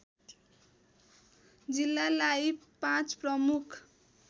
जिल्लालाई पाँच प्रमुख